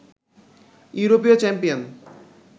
ইউরোপীয় চ্যাম্পিয়ন